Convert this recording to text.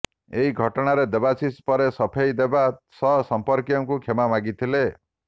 ଏହି ଘଟଣାରେ ଦେବାଶିଷ ପରେ ସଫେଇ ଦେବା ସହ ସମ୍ପର୍କୀୟଙ୍କୁ କ୍ଷମା ମାଗିଥିଲେ